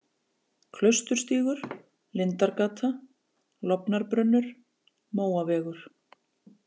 Klausturstígur, Lindargata, Lofnarbrunnur, Móavegur